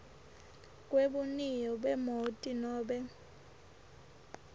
kwebuniyo bemoti nobe